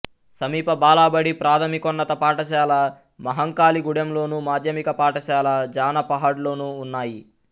సమీప బాలబడి ప్రాథమికోన్నత పాఠశాల మహంకాళిగూడెంలోను మాధ్యమిక పాఠశాల జానపహాడ్లోనూ ఉన్నాయి